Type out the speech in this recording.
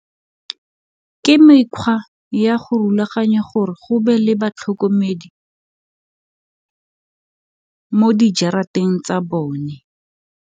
Ke mekgwa ya go rulaganya gore go be le batlhokomedi mo jarateng tsa bone.